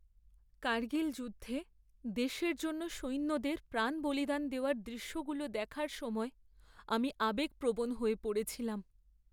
কার্গিল যুদ্ধে দেশের জন্য সৈন্যদের প্রাণ বলিদান দেওয়ার দৃশ্যগুলো দেখার সময় আমি আবেগপ্রবণ হয়ে পড়েছিলাম।